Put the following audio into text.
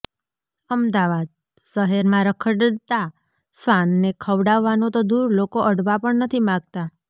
અમદાવાદઃ શહેરમાં રખડતા શ્વાનને ખવડાવવાનું તો દૂર લોકો અડવા પણ નથી માગતા